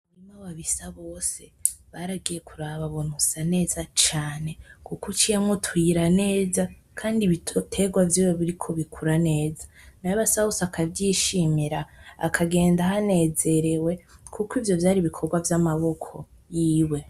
Umurima wa Bisabose baragiye kuraba babona usa neza cane kuko uciyemo utuyira neza kandi ibitegwa vyiwe biriko bikura neza nayo Basabose akavyishimira akagenda ahanezerewe kuko ivyo vyari ibikogwa vy’amaboko yiwe.